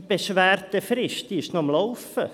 Die Beschwerdefrist läuft noch.